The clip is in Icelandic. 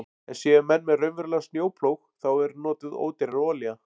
En séu menn með raunverulegan snjóplóg þá er notuð ódýrari olía.